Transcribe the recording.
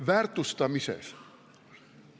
– väärtustamises.